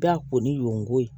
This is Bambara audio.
Da kɔni y'o ko ye